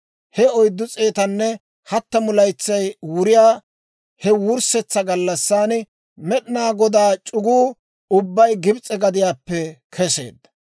He oyddu s'eetanne hattamu laytsay wuriyaa he wurssetsa gallassan, Med'inaa Godaa c'uguu ubbay Gibs'e gadiyaappe keseedda.